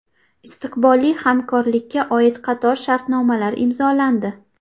Istiqbolli hamkorlikka oid qator shartnomalar imzolandi.